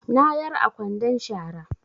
Na yar a kwandon shara